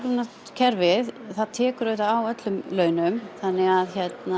kerfið tekur á öllum launum þannig að